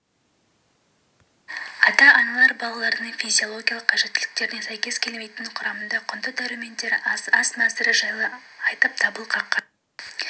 ата-аналар балаларының физиологиялық қажеттіліктеріне сәйкес келмейтін құрамында құнды дәрумендері аз ас мәзірі жайлы айтып дабыл қаққан